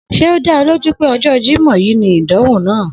S̩e ó dá o̩ lójú wípé o̩jó̩ Jímò̩ yìí ni ìdánwò náà?